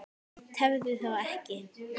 Tefðu þá ekki.